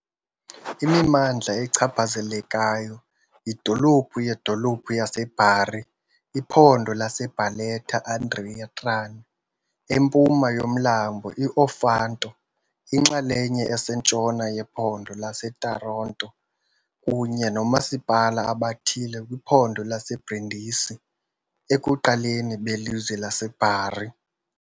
Imimandla echaphazelekayo yidolophu yedolophu yaseBari, iphondo laseBarletta-Andria-Trani empuma yomlambo i-Ofanto, inxalenye esentshona yephondo laseTaranto kunye noomasipala abathile kwiphondo laseBrindisi, ekuqaleni belizwe laseBari.